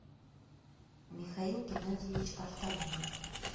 михаил геннадьевич артамонов